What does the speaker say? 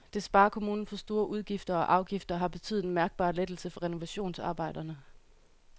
Det sparer kommunen for store udgifter og afgifter og har betydet en mærkbar lettelse for renovationsarbejderne.